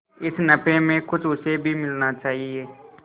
इस नफे में कुछ उसे भी मिलना चाहिए